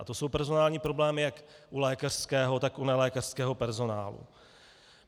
A to jsou personální problémy jak u lékařského, tak u nelékařského personálu.